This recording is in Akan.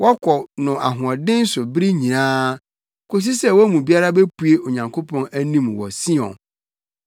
Wɔkɔ no ahoɔden so bere nyinaa, kosi sɛ wɔn mu biara bepue Onyankopɔn anim wɔ Sion.